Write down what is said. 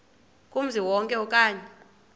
kumzi wonke okanye